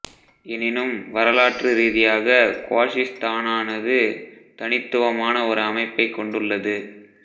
எனினும் வரலாற்று ரீதியாக குவாஷிஸ்தானானது தனித்துவமான ஒரு அமைப்பைக் கொண்டுள்ளது